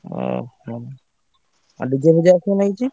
ଓହୋ ଆଉ DJ ଆସିବ ନା କିଛି?